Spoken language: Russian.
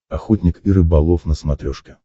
охотник и рыболов на смотрешке